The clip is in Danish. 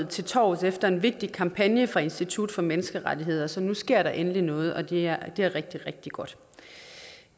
til torvs efter en vigtig kampagne af institut for menneskerettigheder så nu sker der endelig noget og det er rigtig rigtig rigtig godt